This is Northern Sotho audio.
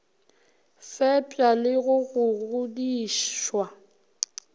fepša le go go godišwa